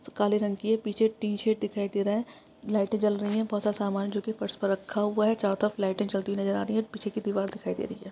काले रंग की है पीछे टी सेट दिखाई दे रहा है लाइटें जल रही हैं। बोहोत सारा समान जोकि फर्श पर रखा हुआ है। चारों तरफ लाइटें जलती हुई नजर आ रही हैं। पीछे की दीवार दिखाई दे रही है।